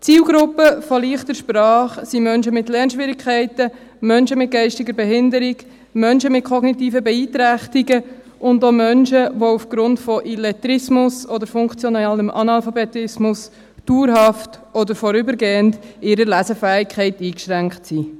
Die Zielgruppe der «leichten Sprache» sind Menschen mit Lernschwierigkeiten, Menschen mit geistiger Behinderung, Menschen mit kognitiven Beeinträchtigungen, auch Menschen, die aufgrund von Illettrismus oder funktionalem Analphabetismus dauerhaft oder vorübergehend in ihrer Lesefähigkeit eingeschränkt sind.